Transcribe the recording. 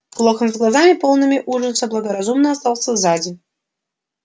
локонс с глазами полными ужаса благоразумно остался сзади